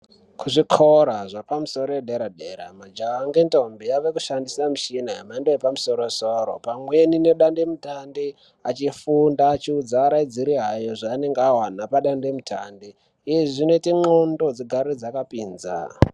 Kuzvikora zvepamusoro edera dera majaha ngendombi avekushandise yemhando yepamusoro soro pamweni nedande mutande achifunda achiudza araidzi awo zvaanenge Awana padande mutande izvi zvinoite ndxondo dzigare dzakapinza.